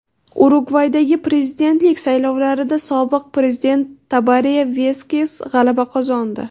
Urugvaydagi prezidentlik saylovlarida sobiq prezident Tabare Vaskes g‘alaba qozondi.